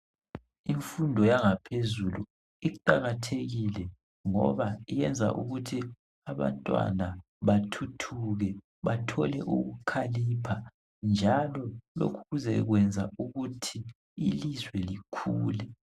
Imfundo yangaphezulu iqakathekile ngoba iyenza ukuthi abantwana bathuthuke bathole ukukhalipha njalo lokuze kwenza ukuthi ilizwe likhule.